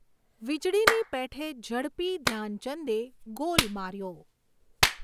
વીજળીની પેઠે ઝડપી, ધ્યાનચંદે ગોલ માર્યો.